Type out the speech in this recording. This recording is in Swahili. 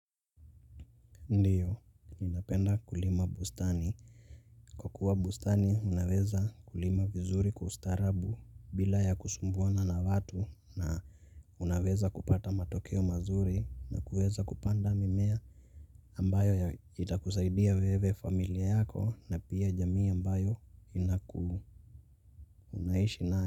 Ndiyo, ninapenda kulima bustani. Kwa kuwa bustani, unaweza kulima vizuri kustarabu bila ya kusumbua nana watu na unaweza kupata matokeo mazuri na kuweza kupanda mimea ambayo itakusaidia wewe, familia yako na pia jamii ambayo unaishinayo.